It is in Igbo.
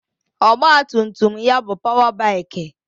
Ọgbatumtum ya bụ páwá báikì